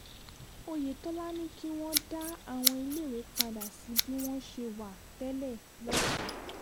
oyetola ní kí wọ́n dá àwọn iléèwé padà sí bí wọ́n ṣe wà tẹ́lẹ̀ lọ́sùn